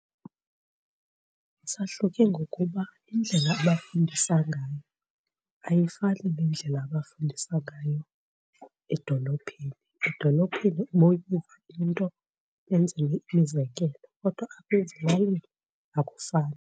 Sahluke ngokuba indlela abafundisa ngayo ayifani nendlela abafundisa ngayo edolophini, edolophini into benze imizekelo kodwa ezilalini akufani.